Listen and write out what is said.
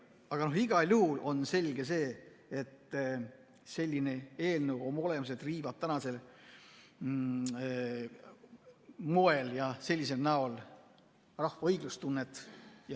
Aga igal juhul on selge, et selline eelnõu oma olemuselt riivab tänasel moel ja näol rahva õiglustunnet.